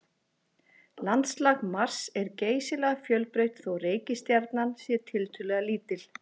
Landslag Mars er geysilega fjölbreytt þótt reikistjarnan sé tiltölulega lítil.